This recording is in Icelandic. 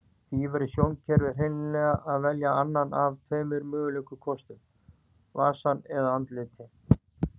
Því verður sjónkerfið hreinlega að velja annan af tveimur mögulegum kostum, vasann eða andlitin.